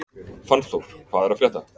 Fannþór, hvað er að frétta?